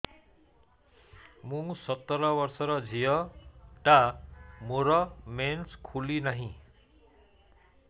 ମୁ ସତର ବର୍ଷର ଝିଅ ଟା ମୋର ମେନ୍ସେସ ଖୁଲି ନାହିଁ